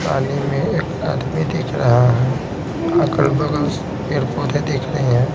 पानी में एक आदमी दिख रहा है अगल-बगल पेड़ -पौधे दिख रहे हैं।